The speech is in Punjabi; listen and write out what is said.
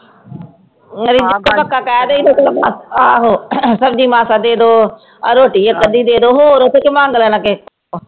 ਉਹ ਰਿਦਿਆ ਪੱਕਾ ਕਹਿ ਕਹੀਦਾ ਆਹੋ ਸਬਜੀ ਮਾਸਾ ਦੇ ਦੋ ਆਹ ਰੋਟੀ ਇਕ ਅੱਧੀ ਦੇ ਦੋ ਹੋਰ ਉਥੇ ਕੀ ਮੰਗ ਲੈਣਾ ਕਿਹੇ ਕੋ